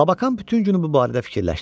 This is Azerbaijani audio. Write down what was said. Lakan bütün günü bu barədə fikirləşdi.